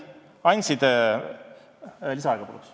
Palun lisaaega!